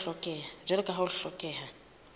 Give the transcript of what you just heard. jwalo ka ha ho hlokeha